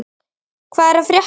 Hvað er að frétta!